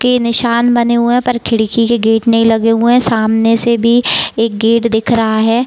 के निशान बने हुए पर खिड़की के गेट नहीं लगे हुए है। सामने से भी एक गेट दिख रहा है।